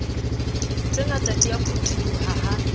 tsengata di a phutholoha ha